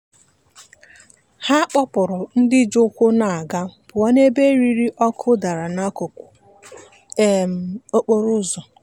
ọ nọnyeere anụ ụlọ furu efu ruo mgbe a chọtara onye nwe ya.